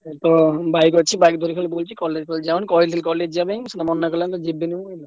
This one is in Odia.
Bike ଅଛି bike ଧରି ଖାଲି ବୁଲୁଚି college ଫଲେଜ ଯାଉନି କହିଲି college ଯିବା ପାଇଁ ସିଏ ମନା କଲା କହିଲା ଯିବିନି।